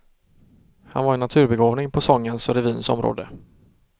Han var en naturbegåvning på sångens och revyns område.